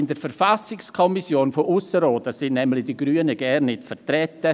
In der Verfassungskommission von Appenzell Ausserrhoden sind die Grünen nämlich gar nicht vertreten;